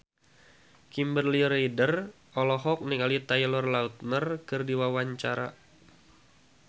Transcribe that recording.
Kimberly Ryder olohok ningali Taylor Lautner keur diwawancara